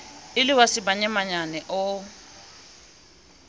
e le wa semanyamanyane o